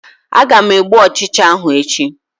Aga m egbu Ụchịcha ahụ echi